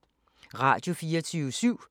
Radio24syv